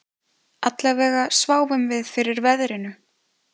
Allavega sváfum við fyrir veðrinu